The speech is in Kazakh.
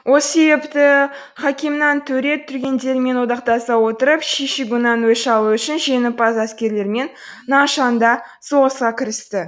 осы себепті хакимхан төре дүнгендермен одақтаса отырып ши шигуңнан өш алу үшін жеңімпаз әскерлермен наншанда соғысқа кірісті